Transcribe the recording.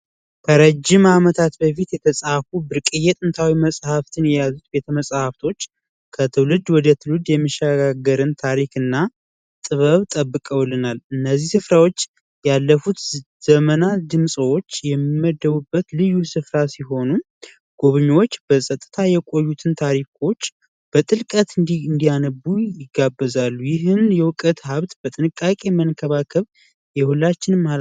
ረጂም ዓመታት በፊት የተጻፉ ብርቅዬ ጥንታዊ መጽሐፍትን ከትውልድ ወደ ትውልድ የሚሻገርን ታሪክና ጥበብ ጠብቀውልናል እነዚህ ስፍራዎች ያለፉት ዘመናት የሚመደቡበት ልዩ ስፍራ ሲሆኑ ጉበኞች በፀጥታ የቆዩትን ታሪኮች በጥልቀት እንዲያነቡ ይጋበዛሉ ይህንቀት ሃብት በጥንቃቄ መንከባከብ የሁላችንም